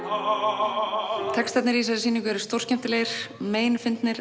á textarnir í þessari sýningu eru stórskemmtilegir